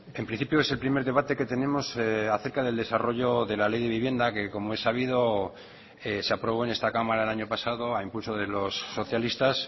en principio es el primer debate que tenemos acerca del desarrollo de la ley de vivienda que como he sabido se aprobó en esta cámara el año pasado a impulso de los socialistas